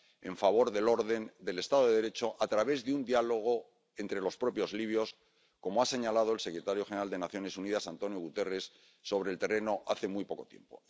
en favor del orden y del Estado de Derecho a través de un diálogo entre los propios libios, como ha señalado el secretario general de Naciones Unidas, António Guterres, sobre el terreno hace muy poco tiempo.